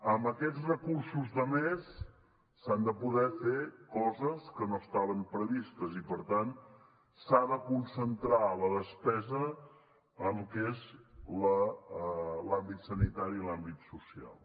amb aquests recursos de més s’han de poder fer coses que no estaven previstes i per tant s’ha de concentrar la despesa en lo que és l’àmbit sanitari i l’àmbit social